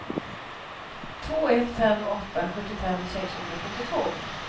två ett fem åtta sjuttiofem sexhundrasjuttiotvå